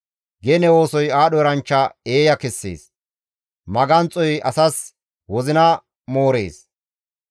Gene oosoy aadho eranchcha eeya kessees; maganxoy asas wozina moorees.